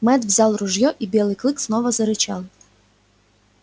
мэтт взял ружье и белый клык снова зарычал